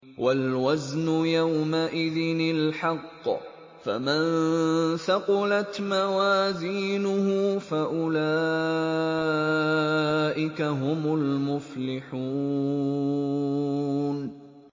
وَالْوَزْنُ يَوْمَئِذٍ الْحَقُّ ۚ فَمَن ثَقُلَتْ مَوَازِينُهُ فَأُولَٰئِكَ هُمُ الْمُفْلِحُونَ